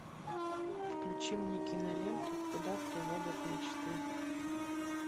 включи мне киноленту куда приводят мечты